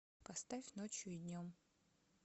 поставь ночью и днем